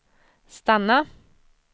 stanna